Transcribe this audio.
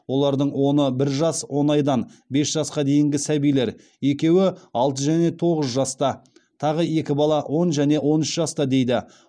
олардың оны бір жас он айдан бес жасқа дейінгі сәбилер екеуі алты және тоғыз жаста тағы екі бала он және он үш жаста дейді